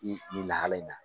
I ni lahala in na